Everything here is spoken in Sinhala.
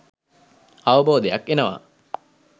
අවබෝධයක් එනවා